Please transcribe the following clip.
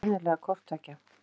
Og sennilega hvort tveggja.